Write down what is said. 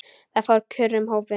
Það fór kurr um hópinn.